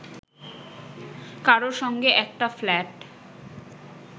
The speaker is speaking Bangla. কারও সঙ্গে একটা ফ্ল্যাট